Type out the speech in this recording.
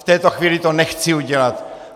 V této chvíli to nechci udělat.